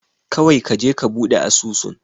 Kawai kaje ka buɗe asusun.